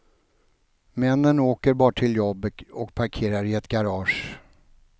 Männen åker bara till jobbet och parkerar i ett garage.